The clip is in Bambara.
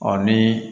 Ɔ ni